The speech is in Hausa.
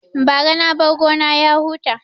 Bara na bar gona ya huta